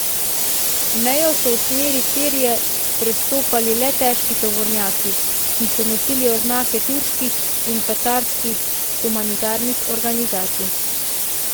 Mejo so v smeri Sirije prestopali le težki tovornjaki, ki so nosili oznake turških in katarskih humanitarnih organizacij.